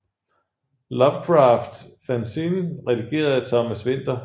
Lovecraft fanzine redigeret af Thomas Winther